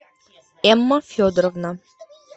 эмма федоровна